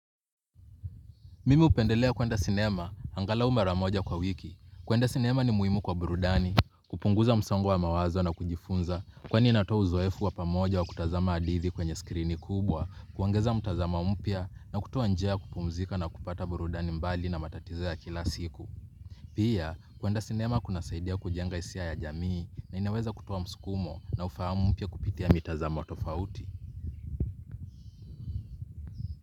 Mimi hupendelea kuenda sinema, angalau mara moja kwa wiki. Kuenda sinema ni muhimu kwa burudani, kupunguza msongo wa mawazo na kujifunza, kwani inatoa uzoefu wa pamoja wa kutazama hadithi kwenye skrini kubwa, kuongeza mtazamo mpya na kutoa njia ya kupumzika na kupata burudani mbali na matatizo ya kila siku. Pia, kuenda sinema kunasaidia kujenga hisia ya jamii na inaweza kutoa msukumo na ufahamu mpya kupitia mitazam tofauti.